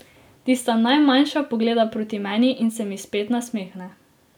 Tista najmanjša pogleda proti meni in se mi spet nasmehne.